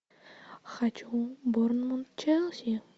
хочу борнмут челси